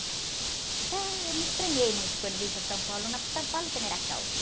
Então, eu não me estranhei muito quando vim para São Paulo, não, porque São Paulo também era calmo.